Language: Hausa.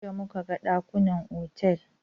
Jiya muka ga ɗakunan otal.